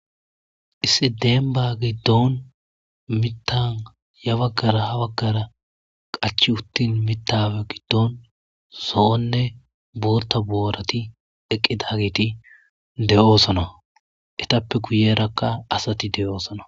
lssi deenbagi doon mitan yabaggara habaggara qachi uttin mitawe giddoon so7onne boorta boorati eqqidagiti de7oosona etappe kuyerakka asati deyoosanar.